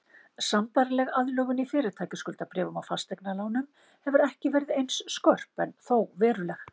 Sambærileg aðlögun í fyrirtækjaskuldabréfum og fasteignalánum hefur ekki verið eins skörp en þó veruleg.